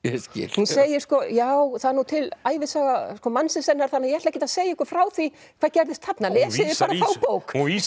hún segir sko já það er nú til ævisaga mannsins hennar þannig að ég ætla ekkert að segja ykkur frá því hvað gerðist þarna lesið bara þá bók hún